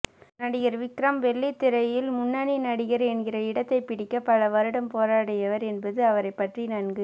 நடிகர் விக்ரம் வெள்ளித்திரையில் முன்னணி நடிகர் என்கிற இடத்தை பிடிக்க பல வருடம் போராடியவர் என்பது அவரைப்பற்றி நன்கு